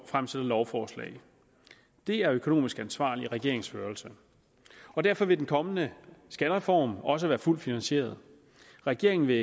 fremsætter lovforslag det er økonomisk ansvarlig regeringsførelse og derfor vil den kommende skattereform også være fuldt finansieret regeringen vil